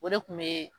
O de kun be